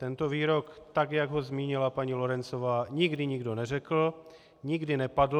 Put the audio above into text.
Tento výrok, tak jak ho zmínila paní Lorencová, nikdy nikdo neřekl, nikdy nepadl.